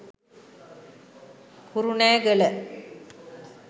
kurunegala